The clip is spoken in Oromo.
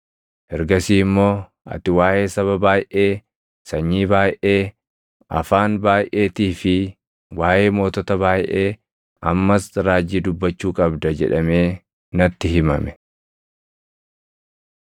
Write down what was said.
Ergasii immoo, “Ati waaʼee saba baayʼee, sanyii baayʼee, afaan baayʼeetii fi waaʼee mootota baayʼee ammas raajii dubbachuu qabda” jedhamee natti himame.